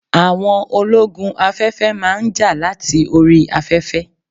Àwọn ológun afẹ́fẹ́ máa ń jà láti orí afẹ́fẹ́